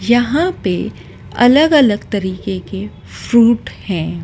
यहां पे अलग-अलग तरीके के फ्रूट हैं।